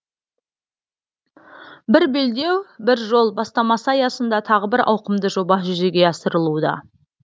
бір белдеу бір жол бастамасы аясында тағы бір ауқымды жоба жүзеге асырылуда